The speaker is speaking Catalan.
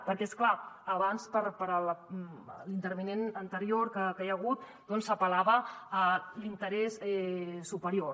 perquè és clar abans l’intervinent anterior que hi ha hagut apel·lava a l’interès superior